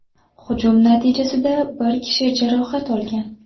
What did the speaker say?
Hujum natijasida bir kishi jarohat olgan.